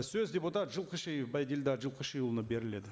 сөз депутат жылқышиев байділдә жылқышыұлына беріледі